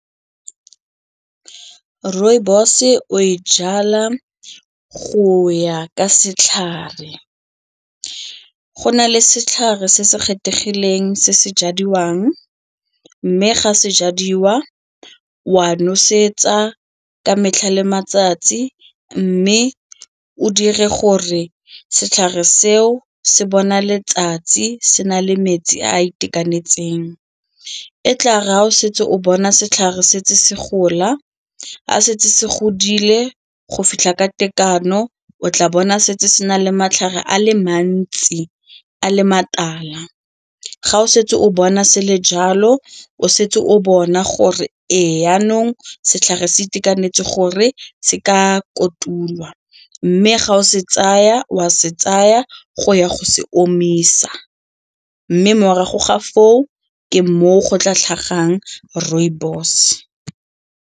Rooibos-e o e jala go ya ka setlhare. Go na le setlhare se se kgethegileng se se jadiwang mme ga se jadiwa wa nosetsa ka metlha le matsatsi mme o dire gore setlhare seo se bona letsatsi se na le metsi a a itekanetseng, e tla re a o setse o bona setlhare setse se gola, a setse se godile go fitlha ka tekano o tla bona setse se na le matlhare a le mantsi a le matala ga o setse o bona sele jalo, o setse o bona gore ee jaanong setlhare se itekanetse gore se ka kotulwa mme ga o ka wa se tsaya go ya go se omisa mme morago ga foo ke moo go tla tlhagang rooibos.